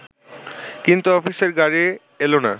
কিন্তু অফিসের গাড়ি এল না